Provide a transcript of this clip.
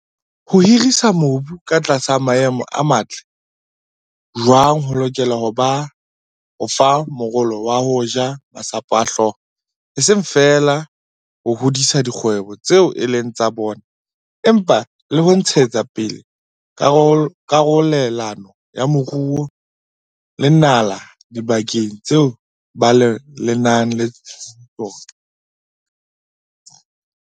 Ho hirisa mobu ka tlasa maemo a matle jwaana ho lokela ho ba fa morolo wa ho ja masapo a hlooho, e seng feela ho hodisa dikgwebo tseo e leng tsa bona empa le ho ntshetsa pele karolelano ya moruo le nala dibakeng tseo ba lemang ho tsona.